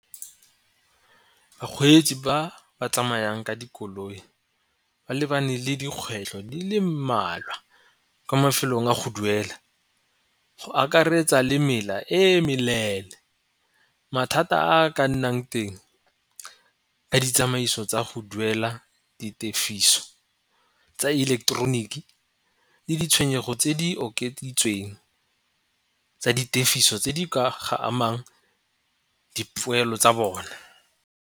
Bakgweetsi ba ba tsamayang ka dikoloi ba lebane le dikgwetlho di le mmalwa kwa mafelong a go duela go akaretsa le mela e meleele mathata a ka nnang teng ka ditsamaiso tsa go duela di tefiso tsa ileketeroniki le ditshenyego tse di okeditsweng tsa di tefiso tse di ka ga amang dipoelo tsa bone.